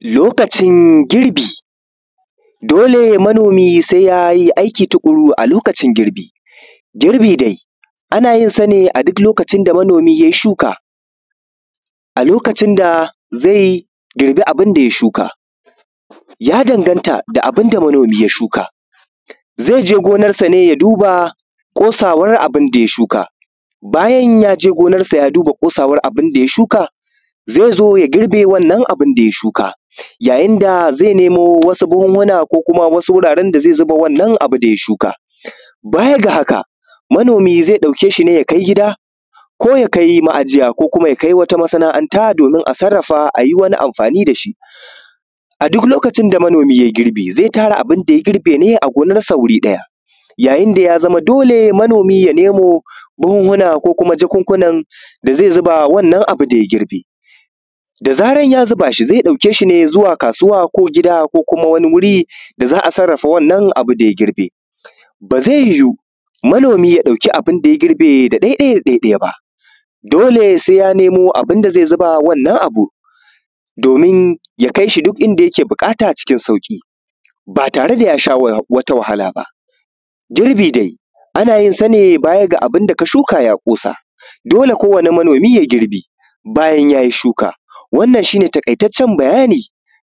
Lokacin girbi dole manomi sai yayi aiki tuƙuru a lokacin girbi. Girbi dai ana yinsane a duk lokacin da manomi yai shuka. A lokacin da zai girbi abinda ya shuka, ya danganata da abinda manomi ya shuka, zaije gonarsane ya duba ƙosawar abunda ya shuka, bayan yaje gonarsa ya duba ƙosawar abunda ya shuka zai zo ya girbe wannan abunda ya shuka ya yinda zai nemo wasu buhunhuna ko kuma wuraren da zai zuba wa ‘yan’ nan abunda ya shuka. Baya ga haka manomi zai ɗauke shine ya kai gida ko ya kai ma’ajiya ko kuma ya kai wata masana’anta domin a sarrafa ayi wata amfani dashi, a duk lokacin da manomi yai girbi zai tara abunda ya girbe ne gonarsa wuri ɗaya, yayin da yazama dole manomi ya nemo buhuhuna ko kuma jakunkunan da zai zuba wannan abu daya girbe. Dazaran ya zubashi zai ɗauke shine zuwa kasuwa ko gida ko kuma wani wuri da za’a sarrafa wannan abunda ya girbe ba zai yiwu manomi ya kwashe abunda ya girbe da ɗai ɗai da ɗai ɗai ba dole sai ya nemo abunda zai zuba wannan abun domin ya kaishi duk inda yake buƙata cikin sauƙi ba tare da yasha wata wahala ba, girbi dai anayin sane baya ga abunda ka shuka ya ƙosa dole kowani manomi yai girbi bayan yayi shuka. Wannan shine taƙai taccen bayani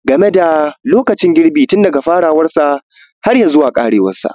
gameda lokacin girbi tun daga lokacin farawarsa harya zuwa ƙarewansa.